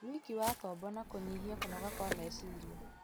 wĩki wa tombo na kũnyihia kũnoga kwa meciria.